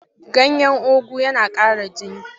Ganyen ugu yana ƙara jini.